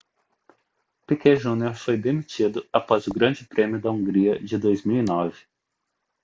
piquet jr foi demitido após o grande prêmio da hungria de 2009